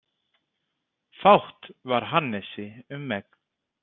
Fátt var Hannesi um megn.